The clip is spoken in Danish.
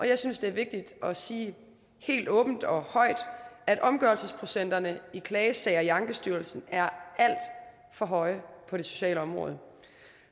jeg synes det vigtigt at sige helt åbent og højt at omgørelsesprocenterne i klagesager i ankestyrelsen er alt for høje på det sociale område